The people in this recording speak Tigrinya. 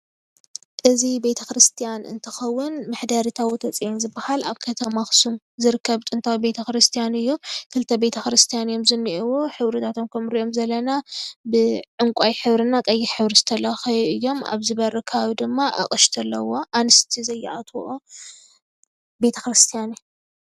እዚ ቤተክርስቲያን እንትኸውን መሕደሪ ታቦተ ፅዮን ዝበሃል ኣብ ከተማ ኣክሱም ዝርከብ ጥንታዊ ቤተክርስቲያን እዩ ክልተ ቤተክርስቲያን እዮም ዝኒአዉ ሕብርታቶም ከምንሪኦም ዘለና ብ ዕንቋይ ሕብሪ እና ቐይሕ ሕብሪ ዝተለኸዩ እዮም። ኣብዚ በሪ ከባቢ ድማ ኣቕሽቲ ኣለዉዎ። ኣንሽቲ ዘይኣትዉኦ ቤተክርስቲያን እዩ።